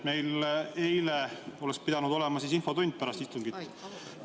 Meil eile oleks pidanud olema pärast istungit infotund.